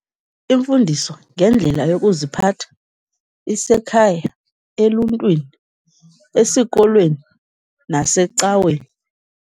Imfundiso ngendlela yokuziphatha isekhaya, eluntwini, esikolweni nasecaweni.